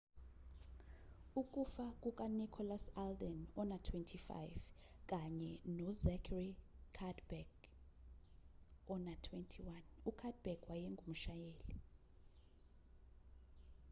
ukufa kukanicholas alden ona-25 kanye nozachary cuddeback ona-21 ucuddeback wayengumshayeli